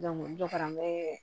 dɔ kɛra an bɛ